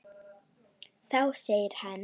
Þá segir hann